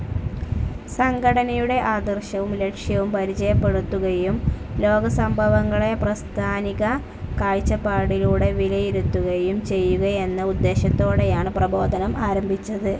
സംഘടനയുടെ ആദർശവും ലക്ഷ്യവും പരിചയപ്പെടുത്തുകയും ലോകസംഭവങ്ങളെ പ്രസ്ഥാനിക കാഴച്ചപ്പാടിലൂടെ വിലയിരുത്തുകയും ചെയ്യുകയെന്ന ഉദ്ദേശ്യത്തോടെയാണ് പ്രബോധനം ആരംഭിച്ചത്.